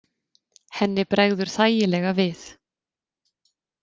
Henni bregður þægilega við.